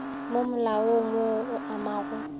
mo malaong wo o amago